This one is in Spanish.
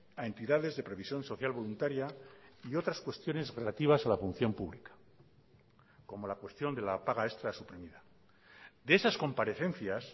a entidades de previsión social voluntaria y otras cuestiones relativas a la función pública como la cuestión de la paga extra suprimida de esas comparecencias